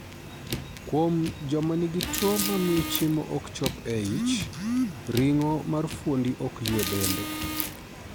Kuom joma nigi tuo mamio chiemo ok chop e ich, ring'o mar fuondni ok ywe bende.